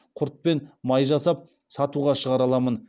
құрт пен май жасап сатуға шығара аламын